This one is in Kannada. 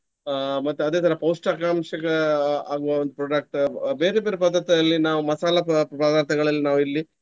ಅಹ್ ಮತ್ತು ಅದೇ ತರ ಪೌಷ್ಟಕಾಂಶಗ ಆಗುವ ಒಂದು product . ಬೇರೆ ಬೇರೆ ಪದಾರ್ಥದಲ್ಲಿ ನಾವು ಮಸಾಲ ಪದಾರ್ಥ್~ ಪದಾರ್ಥಗಳಲ್ಲಿ ನಾವಿಲ್ಲಿ.